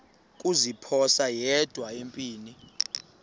kuziphosa yedwa empini